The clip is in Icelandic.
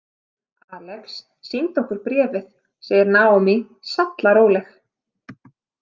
Alex sýndi okkur bréfið, segir Naomi sallaróleg.